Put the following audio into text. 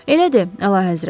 Elədir, Əlahəzrət.